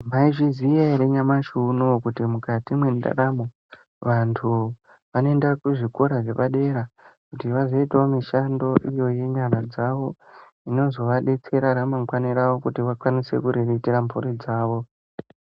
Mwaizviziya ere nyamashi unowu, kuti mukati mwendaramo, vantu vanoenda kuzvikora zvepadera, kuti vazoitawo mishando iyo yenyara dzavo, inozovadetsera ramangwani ravo kuti vakwanise kuriritira mphuri dzavo.